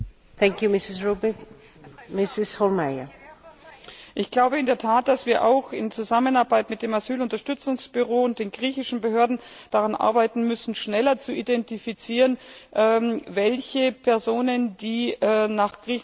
Ich glaube in der Tat, dass wir auch in Zusammenarbeit mit dem Asylunterstützungsbüro und den griechischen Behörden daran arbeiten müssen, schneller zu identifizieren, welche Personen, die nach Griechenland gekommen sind und unter Umständen tatsächlich auch